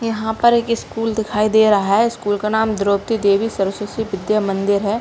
यहाँ पर एक स्कूल दिखाई दे रहा है स्कूल का नाम द्रौपदी देवी सरस्वती विद्या मंदिर है।